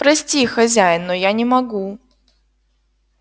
прости хозяин но я не могу